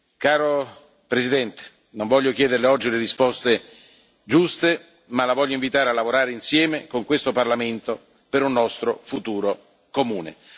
Caro Presidente, non voglio chiederLe oggi le risposte giuste, ma La voglio invitare a lavorare insieme a questo Parlamento per un nostro futuro comune.